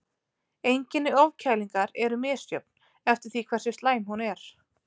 Einkenni ofkælingar eru misjöfn eftir því hversu slæm hún er.